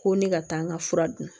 Ko ne ka taa n ka fura dun